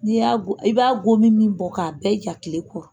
N'i y'a i b'a gomin min bɔ k'a da i kan tile kɔnɔ.